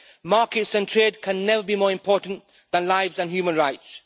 Markets and trade can never be more important than lives and human rights.